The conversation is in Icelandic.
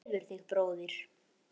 Hvað tefur þig bróðir?